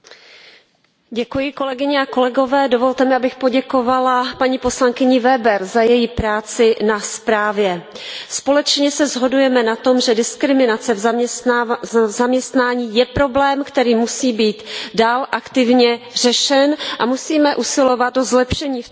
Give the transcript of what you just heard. Pane předsedající, dovolte mi, abych poděkovala, paní poslankyni Weberové za její práci na zprávě. Společně se shodujeme na tom, že diskriminace v zaměstnání je problém, který musí být dál aktivně řešen, a musíme usilovat o zlepšení v této oblasti.